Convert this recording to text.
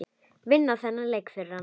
Vinna þennan leik fyrir hann!